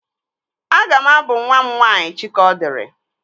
Aga m abụ nwa m nwaanyị Chikaọdịrị